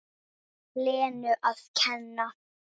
Lenu að kenna.